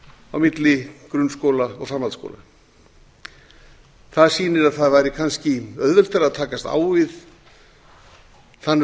á milli grunnskóla og framhaldsskóla það sýnir að það væri kannski auðveldara að takast á við þann